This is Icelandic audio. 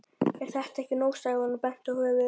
Er þetta ekki nóg? sagði hann og benti á höfuðið.